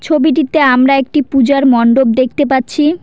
ছবিটিতে আমরা একটি পূজার মন্ডপ দেখতে পাচ্ছি।